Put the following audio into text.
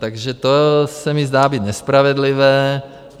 Takže to se mi zdá být nespravedlivé.